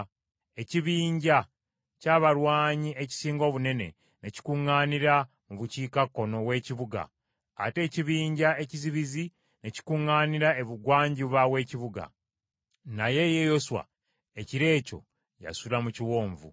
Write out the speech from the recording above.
Ekibinja ky’abalwanyi ekisinga obunene ne kikuŋŋaanira mu bukiikakkono w’ekibuga ate ekibinja ekizibizi ne kikuŋŋaanira ebugwanjuba w’ekibuga. Naye ye Yoswa ekiro ekyo yasula mu kiwonvu.